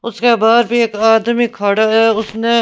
उसके बाद भी एक आदमी खड़ा है उसने --